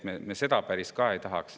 Me seda ka päris ei tahaks.